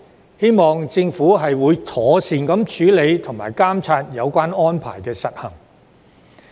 我希望政府會妥善處理和監察有關安排的實行。